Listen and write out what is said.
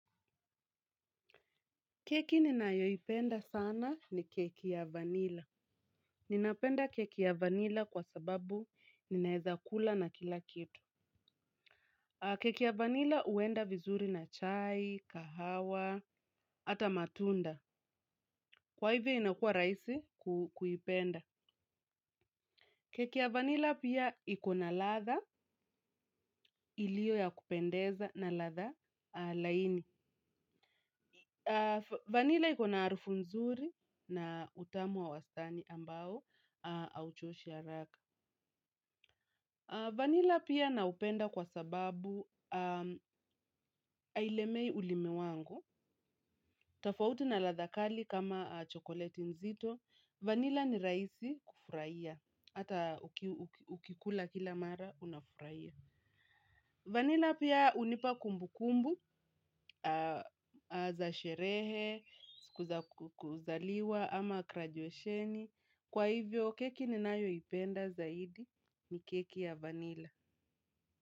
Keki ninayoipenda sana ni keki ya vanila. Ninapenda keki ya vanila kwa sababu ninaeza kula na kila kitu. Keki ya vanila huenda vizuri na chai, kahawa, hata matunda. Kwa hivyo inakuwa rahisi kuipenda. Keki ya vanila pia iko na ladha ilio ya kupendeza na ladha laini. Vanila iko na harufu nzuri na utamu wa wastani ambao hauchoshi haraka. Vanila pia naupenda kwa sababu hailemei ulimi wangu. Tofauti na ladha kali kama chokoleti nzito. Vanila ni rahisi kufurahia. Hata ukikula kila mara unafurahia. Vanila pia hunipa kumbukumbu za sherehe, kuzaliwa, ama graduesheni kwa hivyo keki ninayoipenda zaidi ni keki ya vanila.